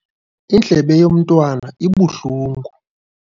Indlebe yomntwana ibuhlungu.